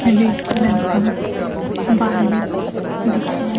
red colour का bike दिखाई--